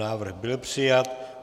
Návrh byl přijat.